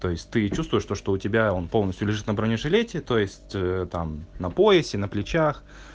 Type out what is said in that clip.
то есть ты чувствуешь то что у тебя он полностью лежит на бронежилете то есть там на поясе на плечах